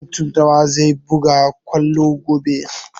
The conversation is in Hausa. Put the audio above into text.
Mutun nawa zai buga kwallo gobe?